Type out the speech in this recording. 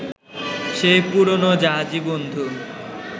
সেই পুরনো জাহাজী বন্ধু